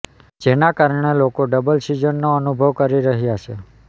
જેના કારણે લોકો ડબલ સિઝનનો અનુભવ કરી રહ્યા છે